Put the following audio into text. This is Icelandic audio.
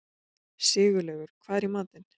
Sigurlaugur, hvað er í matinn?